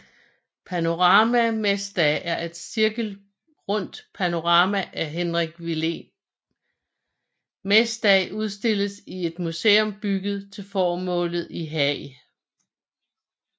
Panorama mesdag er et cirkelrundt panorama af Hendrik Willem Mesdag udstillet i et museum bygget til formålet i Haag